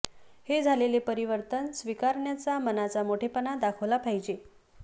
हे झालेले परिवर्तन स्वीकारण्याचा मनाचा मोठेपणा दाखविला पाहिजे